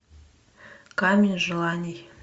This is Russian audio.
камень желаний